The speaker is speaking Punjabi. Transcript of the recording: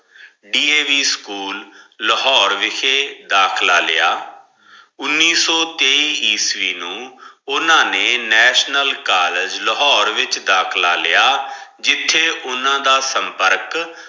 D. A. V school Lahore ਵਿਖੇ ਦਾਖਲਾ ਲਿਆ ਉੱਨੀ ਸੋ ਤੇਈ ਈਸਵੀ ਨੂੰ ਓਨਾ ਨੇ ਨੈਸ਼ਨਲ ਕਾਲਜ ਲਾਹੋਰੇ ਵਿੱਚ ਦਾਖਲਾ ਲਿਆ ਜਿੱਥੇ ਉਹਨਾਂ ਦਾ ਸੰਪਰਕ।